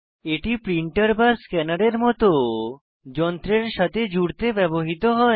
এটি প্রিন্টার বা স্ক্যানারের মত যন্ত্রের সাথে জুড়তে ব্যবহৃত হয়